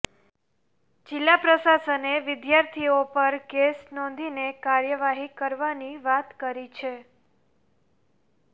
જિલ્લા પ્રશાસને વિદ્યાર્થીઓ પર કેસ નોંધીને કાર્યવાહી કરવાની વાત કરી છે